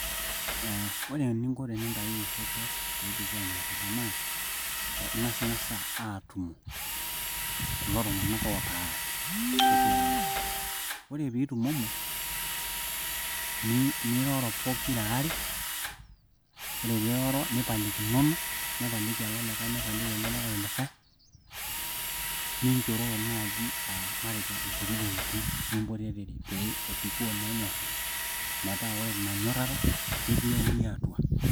Eeh ore eninko tenintayuyu osotua peebikoo enyorata naa ing'asing'asa aatumo kulo tung'anak ootaarate ore peeitumomo niroro pokiraare ore peeiroro nipalikinono nipaliki ele olikae nipalili olikae olikae ninchororo naaji aa nkuti tokitin nimpotorere pee ebikoo naa enyorata metaa ore inanyorata ketii euria atua.